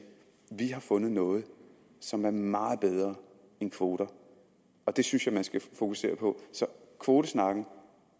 vi har fundet noget som er meget bedre end kvoter og det synes jeg man skal fokusere på så kvotesnakken